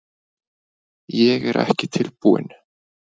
Ég er ekki tilbúinn.